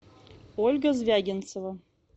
ольга звягинцева